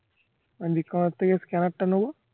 আমি লিঙ্কন এর থেকে scanner টা নবো